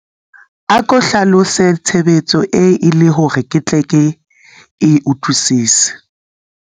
ako hlalose tshebetso e le hore ke tle ke e utlwwisise